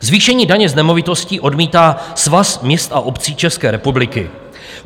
Zvýšení daně z nemovitostí odmítá Svaz měst a obcí České republiky.